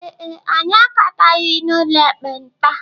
Ee e, anyị agataghị n'ụlọ ekpenta.